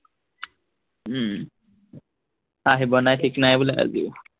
উম আহিব নাই ঠিক নাই বোলে আজিও।